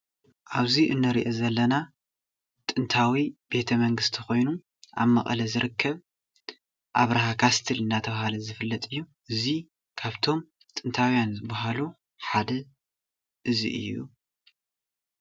ኣብዚ እንሪኦ ዘለና ጥንታዋ ቤተመንግስቲ ኾይኑ ፥ኣብ መቀለ ዝርከብ ኣብርሀ ካስትል እናተብሃለ ዝፍለጥ እዩ። እዙይ ካብቶም ጥንታውያን ዝበሃሉ ሓደ እዙይ እዩ።